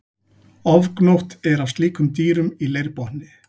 Ofgnótt er af slíkum dýrum í leirbotni.